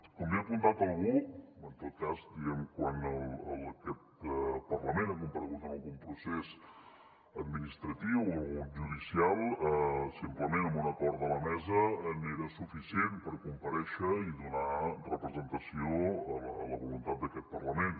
com bé ha apuntat algú en tot cas diguem ne quan aquest parlament ha comparegut en algun procés administratiu o algun de judicial simplement amb un acord de la mesa era suficient per comparèixer i donar representació a la voluntat d’aquest parlament